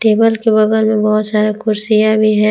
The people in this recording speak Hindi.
टेबल के बगल में बहुत सारा कुर्सियां भी हैं।